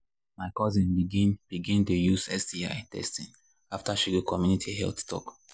my cousin begin begin dey use sti testing after she go community health talk.